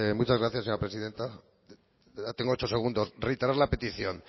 muchas gracias señora presidenta tengo ocho segundos reiterar la petición